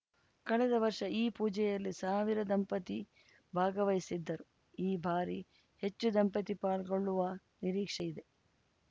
ಕಳೆದ ವರ್ಷ ಈ ಪೂಜೆಯಲ್ಲಿ ಸಾವಿರ ದಂಪತಿ ಭಾಗವಹಿಸಿದ್ದರು ಈ ಬಾರಿ ಹೆಚ್ಚು ದಂಪತಿ ಪಾಲ್ಗೊಳ್ಳುವ ನಿರೀಕ್ಷೆ ಇದೆ